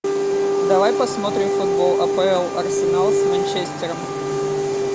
давай посмотрим футбол апл арсенал с манчестером